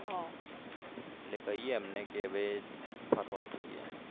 એટલે કીએ એમને કે હવે ફરવા જઈએ અમે